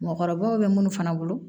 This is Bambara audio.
Mɔgɔkɔrɔbaw be munnu fana bolo